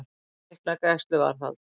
Fjögurra vikna gæsluvarðhald